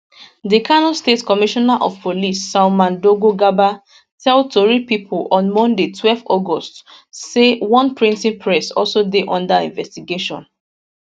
di kano state commissioner of police salman dogo garba tell tori pipo on monday twelve august say one printing press also dey under investigation